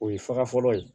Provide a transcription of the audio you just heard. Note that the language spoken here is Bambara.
O ye faga fɔlɔ ye